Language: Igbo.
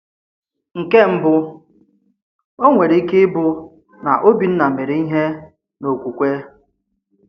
Nkè mbụ, ọ̀ nwèrè ike ịbụ na Òbìnna mèrè ìhè n’okwukwe.